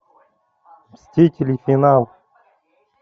мстители финал